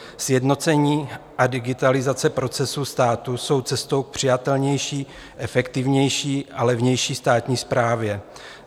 "Sjednocení a digitalizace procesu státu jsou cestou k přijatelnější, efektivnější a levnější státní správě.